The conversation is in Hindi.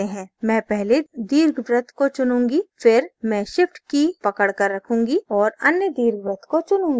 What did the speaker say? मैं पहले दीर्घवृत्त को चुनूंगी फिर मैं shift key पकड़ कर रखूँगी औऱ अन्य दीर्घवृत्त को चुनूंगी